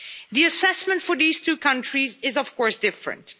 The assessment for these two countries is, of course, different.